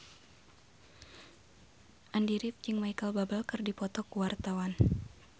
Andy rif jeung Micheal Bubble keur dipoto ku wartawan